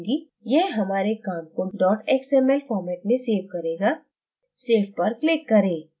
यह हमारे काम को xml format में सेव करेगा save पर click करें